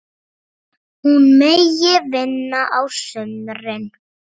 Hún megi vinna á sumrin.